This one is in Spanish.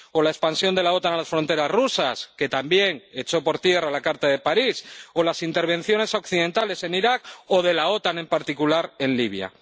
O la expansión de la OTAN a las fronteras rusas —que también echó por tierra la Carta de París—, o las intervenciones occidentales en Irak o de la OTAN, en particular, en Libia.